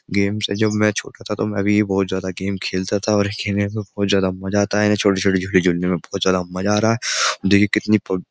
games है जब मैं छोटा था तो मैं भी बोहोत ज्यदा गेम खेलता था और खेलने में बहुत ज्यादा मजा आता है छोटे-छोटे छोटे जोड़ने में बहुत ज्यादा मजा आ रहा है देखिए कितने पब --